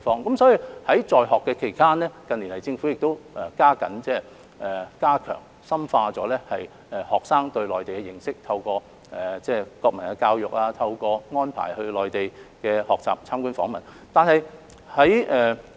因此，在他們在學期間，政府近年已加緊加強和深化學生對內地的認識，透過國民教育，安排學生到內地學習及參觀訪問。